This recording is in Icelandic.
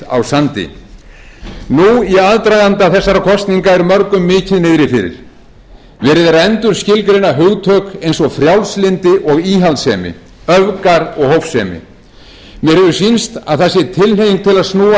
á sandi nú í aðdraganda þessara kosninga er mörgum mikið niðri fyrir verið er að endurskilgreina hugtök eins og frjálslyndi og íhaldssemi öfgar og hófsemi mér hefur sýnst tilhneiging til að snúa